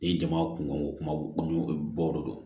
Ni jama kun bɛ bɔ